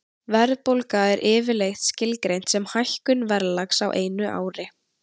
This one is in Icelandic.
Verðbólga er yfirleitt skilgreind sem hækkun verðlags á einu ári.